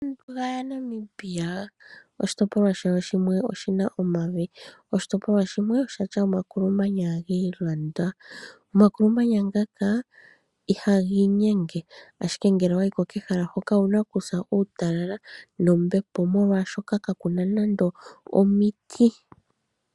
Mombuga yaNamibia, oshitopolwa shawo shimwe oshi na omavi noshitopolwa shimwe omakulumanya giilonda. Omakulumanya ngaka ihaga iinyenge, ashike ngele owayi ko kehala hoka owu na okusa uutalala nombepo molwaashoka kaku na nando omiti.